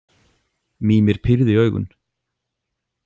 Mímir pírði augun.